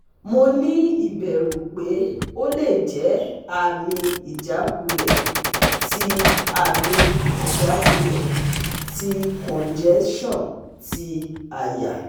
Mo ni iberu pe ole je ami ijakunle ti ami ijakunle ti congestion ti aya